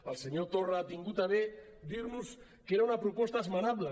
el senyor torra ha tingut a bé dir nos que era una proposta esmenable